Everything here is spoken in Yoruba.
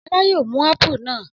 Ọlá yóò mú ápù náà.